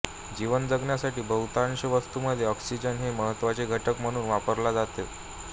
जीवन जगण्यासाठी बहुतांश वस्तुमध्ये ऑक्सिजन हे महत्त्वाचा घटक म्हणून वापरला जातो